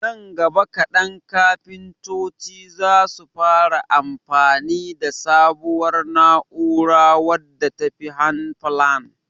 nan gaba kadan kafintoci zasu fara amfani da sabuwar na'ura wadda tafi handplane